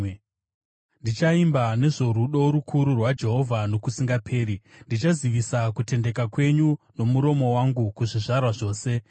Ndichaimba nezvorudo rukuru rwaJehovha nokusingaperi; ndichazivisa kutendeka kwenyu nomuromo wangu kuzvizvarwa zvose.